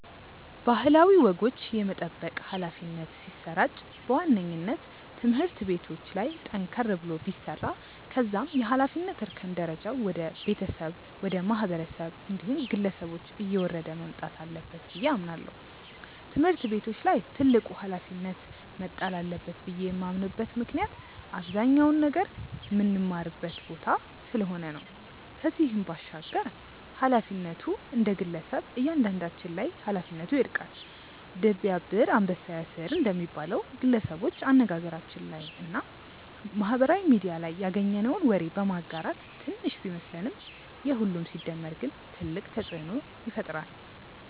ባህላዊ ወጎች የመጠበቅ ኃላፊነት ሲሰራጭ በዋነኝነት ትምህርት ቤቶች ላይ ጠንከር ተብሎ ቢሰራ ከዛም የኃላፊነት እርከን ደረጃው ወደ ቤተሰብ፣ ወደ ማህበረሰብ እንዲሁም ግለሰቦች እየወረደ መምጣት አለበት ብዬ አምናለው። ትምህርት ቤቶች ላይ ትልቁ ኃላፊነት መጣል አለበት ብዬ የማምንበት ምክንያት አብዛኛውን ነገር ምንማርበት ቦታ ስለሆነ ነው። ከዚህም ባሻገር ኃላፊነቱ እንደግለሰብ እያንዳንዳችን ላይ ኃላፊነቱ ይወድቃል። 'ድር ቢያብር አንበሳ ያስር' እንደሚባለው፣ ግለሰቦች አነጋገራችን ላይ እና ማህበራዊ ሚድያ ላይ ያገኘነውን ወግ በማጋራት ትንሽ ቢመስለንም የሁሉም ሲደመር ግን ትልቅ ተጽእኖ ይፈጥራል።